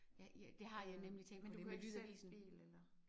Ja ja det har jeg nemlig tænkt på det med lydavisen